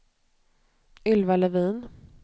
Ylva Levin